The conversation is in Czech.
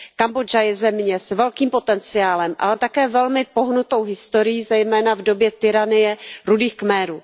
Kambodža je země s velkým potenciálem, ale také velmi pohnutou historií, zejména v době tyranie Rudých Khmerů.